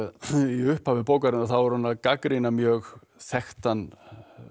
í upphafi bókarinnar er hún að gagnrýna mjög þekktan